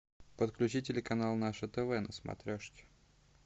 подключи телеканал наше тв на смотрешке